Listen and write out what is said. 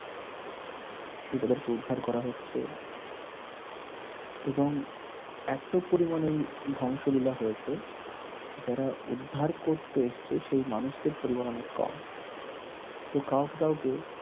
শিশুদেরকে উদ্ধার করা হচ্ছে এবং এত পরিমানে ধ্বংসলীলা হয়েছে, যারা উদ্ধার করতে এসেছে সেই মানুষদের পরিমান অনেক কম তো কাওকে কাওকে